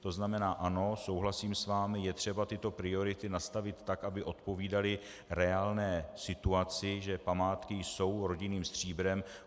To znamená ano, souhlasím s vámi, je třeba tyto priority nastavit tak, aby odpovídaly reálné situaci, že památky jsou rodinným stříbrem.